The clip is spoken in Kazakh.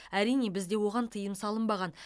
әрине бізде оған тыйым салынбаған